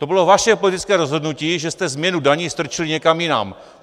To bylo vaše politické rozhodnutí, že jste změnu daní strčili někam jinam.